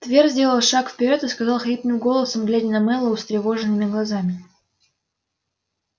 твер сделал шаг вперёд и сказал хриплым голосом глядя на мэллоу встревоженными глазами